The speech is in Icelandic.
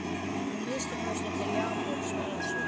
Að minnsta kosti til Jakobs og Elsu.